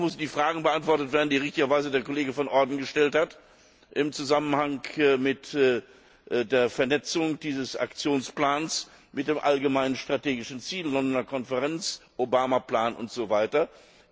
Auch müssen die Fragen beantwortet werden, die richtigerweise der Kollege Van Orden gestellt hat, im Zusammenhang mit der Vernetzung dieses Aktionsplans mit dem allgemeinen strategischen Ziel, Londoner Konferenz, Obama Plan usw.